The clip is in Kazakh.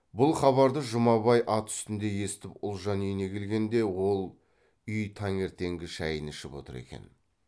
бұл хабарды жұмабай ат үстінде естіп ұлжан үйіне келгенде ол үй таңертеңгі шайын ішіп отыр екен